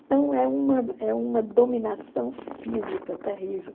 Então é uma é uma dominação física terrível.